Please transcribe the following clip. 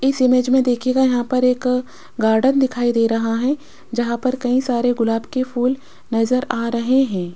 इस इमेज में देखिएगा यहां पर एक गार्डन दिखाई दे रहा है जहां पर कई सारे गुलाब के फूल नजर आ रहे हैं।